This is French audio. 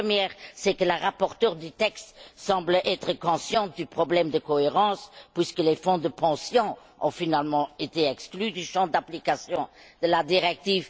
La première, c'est que la rapporteure du texte semble être consciente du problème de cohérence, puisque les fonds de pension ont finalement été exclus du champ d'application de la directive.